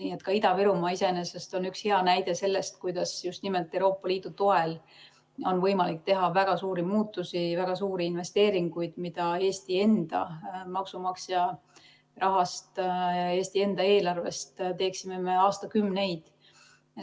Nii et ka Ida-Virumaa on iseenesest üks hea näide selle kohta, kuidas just nimelt Euroopa Liidu toel on võimalik teha väga suuri muutusi, väga suuri investeeringuid, mida Eesti enda maksumaksja rahast, Eesti enda eelarvest me teeksime aastakümneid.